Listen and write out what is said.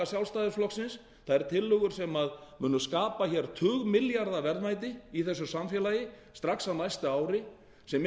sjálfstæðisflokksins þær tillögur sem munu skapa tugmilljarða verðmæti í þessu samfélagi strax á næsta ári sem